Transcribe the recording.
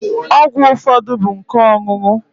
Ọgwụ ụfọdụ bụ nke ọṅụṅụ.